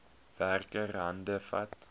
werker hande vat